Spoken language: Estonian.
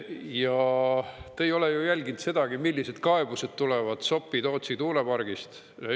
Ja te ei ole ju jälginud sedagi, millised kaebused tulevad Sopi-Tootsi tuulepargist.